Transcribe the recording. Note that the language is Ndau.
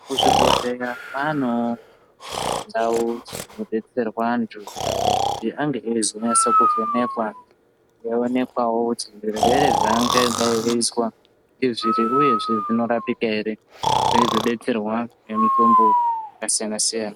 Kuzvibhedhlera kwanewo ndau dzinodetserwa antu kuti ange einyaso kuvhenekwa eionekwa kuti Zvirwere zvavangadai veizwa uyezve zvinorapika ere veizobetserwa nemitombo yakasiyana siyana.